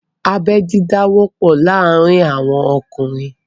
Abẹ́ dídá wọ́pọ̀ láàárín àwọn ọkùnrin